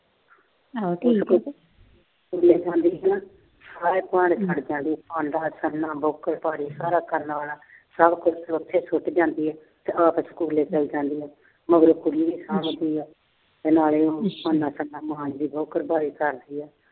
ਸਾਰੇ ਭਾਂਡੇ ਛੱਡ ਜਾਂਦੀ ਆ। ਭਾਂਡਾ ਸਭ ਕਰਨ ਵਾਲਾ। ਸਾਰਾ ਕੁਛ ਉਥੇ ਸੁੱਟ ਜਾਂਦੀ ਆ ਤੇ ਆਪ ਸਕੂਲੇ ਚਲੀ ਜਾਂਦੀ ਏ। ਮਗਰੋਂ ਕੁੜੀ ਤੇ ਨਾਲੇ